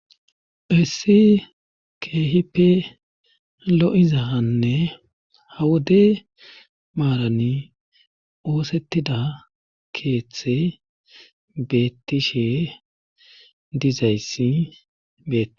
hissi keehipe lo7izahanne hawude maarani oosettida keeththe beettishe dizayssi beei